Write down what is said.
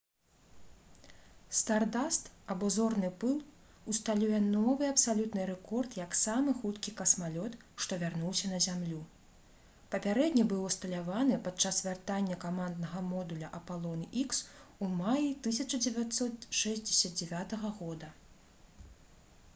«стардаст» або «зорны пыл» усталюе новы абсалютны рэкорд як самы хуткі касмалёт што вярнуўся на зямлю. папярэдні быў усталяваны падчас вяртання каманднага модуля «апалон х» у маі 1969 г